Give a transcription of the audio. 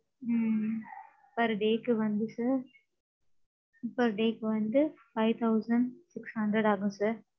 ம்ம் per day க்கு வந்து sir. Per day க்கு வந்து five thousand six hundred ஆகும் sir.